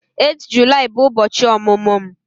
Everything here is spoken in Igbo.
8 Julaị bụ ụbọchị ọmụmụ m